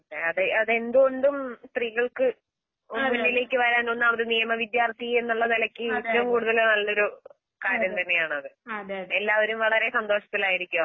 അതെ. അതെന്തുകൊണ്ടും സ്ത്രീകൾക്ക് ഒന്നിലിലേക്ക് വരാനൊന്നാവത്നിയമവിദ്യാർത്ഥിയെന്നുള്ളനിലയ്ക്ക്ഏറ്റവുംകൂടുതല്നല്ലൊരു കാര്യംതന്നെയാണത്. എല്ലാവരും വളരെസന്തോഷത്തിലായിരിക്കുംഅപ്പം.